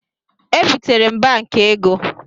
E bịtere m Banki ego